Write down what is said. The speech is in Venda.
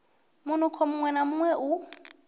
munukho muṅwe na muṅwe u